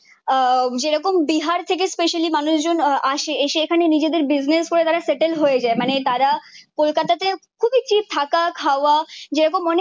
আহ যেরকম বিহার থেকে স্পেশালি মানুষজন আসে। এসে এখানে নিজেদের বিজনেস করে তারা সেটেলড হয়ে যায়। মানে তারা কলকাতাতে খুবই চিপ থাকা খাওয়া যেরকম